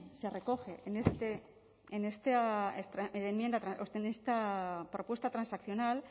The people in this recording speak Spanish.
se recoge en esta propuesta transaccional